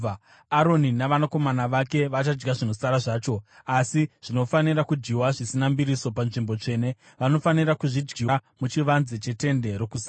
Aroni navanakomana vake vachadya zvinosara zvacho, asi zvinofanira kudyiwa zvisina mbiriso panzvimbo tsvene, vanofanira kuzvidyira muchivanze cheTende Rokusangana.